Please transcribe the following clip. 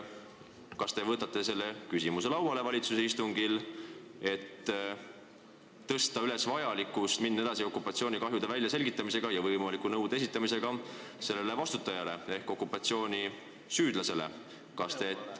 Kas te tõstate selle küsimuse seal lauale, et juhtida tähelepanu sellele, et okupatsioonikahjude väljaselgitamisega tuleb edasi minna ja okupatsioonis süüdi olevale riigile kahjunõue esitada?